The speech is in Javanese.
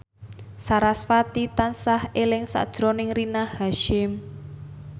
sarasvati tansah eling sakjroning Rina Hasyim